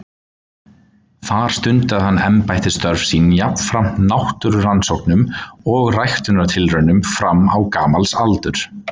Þar stundaði hann embættisstörf sín jafnframt náttúrurannsóknum og ræktunartilraunum fram á gamals aldur.